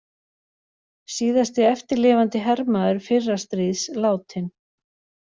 Síðasti eftirlifandi hermaður fyrra stríðs látinn